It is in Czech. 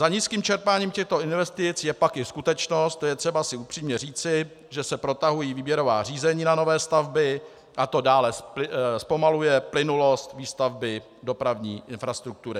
Za nízkým čerpáním těchto investic je pak i skutečnost, to je třeba si upřímně říci, že se protahují výběrová řízení na nové stavby a to dále zpomaluje plynulost výstavby dopravní infrastruktury.